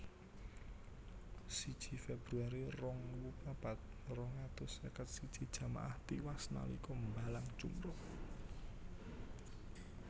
Siji Februari rong ewu papat rong atus seket siji jamaah tiwas nalika mbalang jumrah